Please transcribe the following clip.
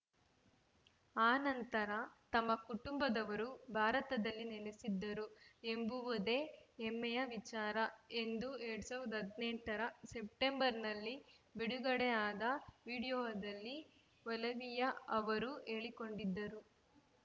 ಆ ನಂತರ ತಮ್ಮ ಕುಟುಂಬದವರು ಭಾರತದಲ್ಲಿ ನೆಲೆಸಿದ್ದರು ಎಂಬುದೇ ಹೆಮ್ಮೆಯ ವಿಚಾರ ಎಂದು ಎರಡ್ ಸಾವಿರದ ಹದಿನೆಂಟ ರ ಸೆಪ್ಟೆಂಬರ್‌ನಲ್ಲಿ ಬಿಡುಗಡೆಯಾದ ವಿಡಿಯೋದಲ್ಲಿ ಒಲಿವಿಯಾ ಅವರು ಹೇಳಿಕೊಂಡಿದ್ದರು